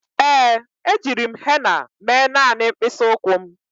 Ee, ejiri m henna mee naanị mkpịsị ụkwụ m.